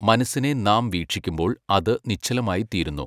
മനസ്സിനെ നാം വീക്ഷിക്കുമ്പോൾ അത് നിശ്ചലമായിത്തീരുന്നു.